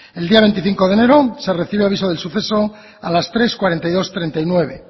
el día veinticinco de enero se recibe aviso del suceso a las tres cuarenta y dos treinta y nueve